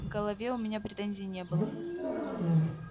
к голове у меня претензий не было